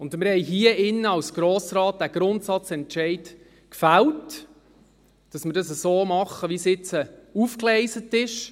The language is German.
Als Grosser Rat haben wir hier drin Grundsatz gefällt, dass wir es so machen, wie es jetzt aufgegleist ist.